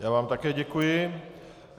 Já vám také děkuji.